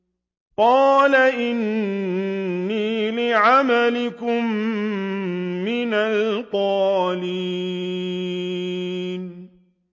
قَالَ إِنِّي لِعَمَلِكُم مِّنَ الْقَالِينَ